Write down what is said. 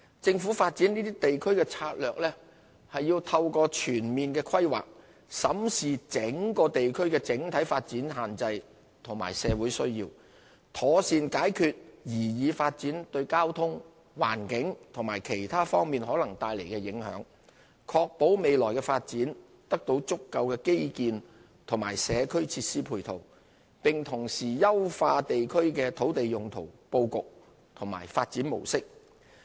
政府發展這些地區的策略，是透過全面規劃，審視整個地區的整體發展限制和社會需要，妥善解決擬議發展對交通、環境及其他方面可能帶來的影響，確保未來的發展得到足夠的基建和社區設施配套，並同時優化地區的土地利用布局和發展模式。